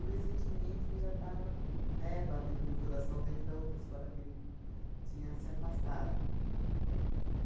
ressentimento que já estava, né, batendo no coração dele da outra escola, que ele tinha se afastado.